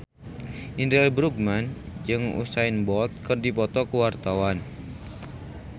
Indra L. Bruggman jeung Usain Bolt keur dipoto ku wartawan